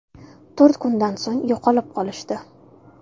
To‘rt kundan so‘ng yo‘qolib qolishdi.